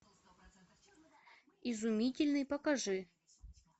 изумительный покажи